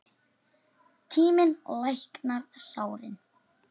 Tíminn læknar sárin.